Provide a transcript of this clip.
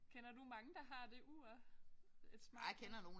Kender du mange der har det ur et Smartwatch